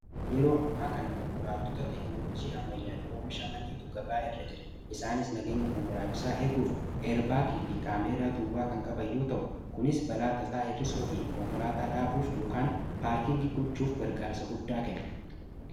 yeroo amma kana konkolaattota teeknoloojii ammayyaan oomishaman tu gabaa irra jira. isaanis nageenya konkolaachisaa eeguuf eerbaalii fi kaameeraa duwwaa kan qaban yoo ta'u kunis balaa tasaa hir'isuu fi konkolaataa dhaabuuf yookiin paarkingii gochuuf gargaarsa guddaa kenne.